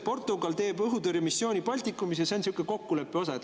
Portugal teeb õhutõrjemissiooni Baltikumis ja see on sihuke kokkuleppe osa.